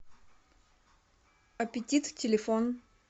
опетит телефон